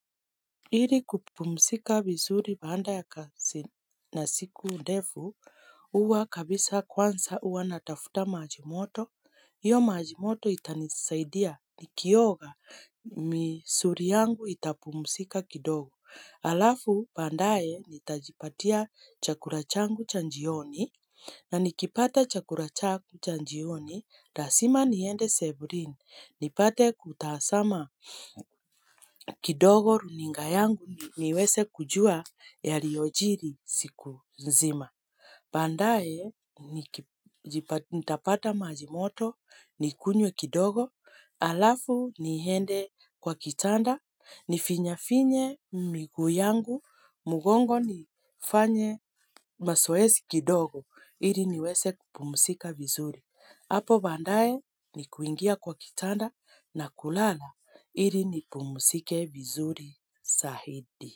Ili kupumzika vizuri baada ya kazi na siku ndefu huwa kabisa kwanza huwa natafuta maji moto. Hiyo maji moto itanisaidia nikioga misuli yangu itapumzika kidogo. Halafu baadaye nitajipatia chakula changu cha jioni na nikipata chakula changu cha jioni. Lazima niende sebuleni nipate kutazama kidogo runinga yangu niweze kujua yaliyojiri siku nzima baadaye nitapata maji moto nikunywe kidogo halafu niende kwa kitanda nifinyefinye miguu yangu mgongo nifanye mazoezi kidogo ili niweze kupumzika vizuri Hapo baadaye ni kuingia kwa kitanda na kulala ili nipumzike vizuri zaidi.